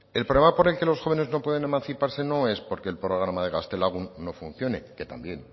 el problema por el que los jóvenes no pueden emanciparse no es porque el programa de gaztelagun no funcione que también